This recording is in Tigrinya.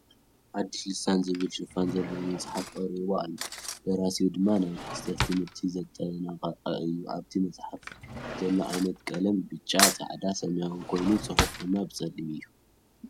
ኣዲስ ልሳን ዝብል ሽፋን ዘለዎ መፅሓፍ ቐሪቡ ኣሎ ደራሲኡ ድማ ናይ ማስተር ት/ቲ ዘጠናቐቐ እዩ ኣብቲ መፅሓፍ ዘሎ ዓይነት ቐለም ብጫ፣ ፃዕዳ፣ ሰማያዊ ኾይኑ ፅሑፉ ድማ ብፀሊም እዩ።